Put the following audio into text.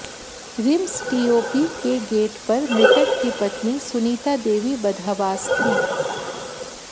RIMS TOP के gate पर मृतक की पत्नी सुनीता देवी बदहवास थी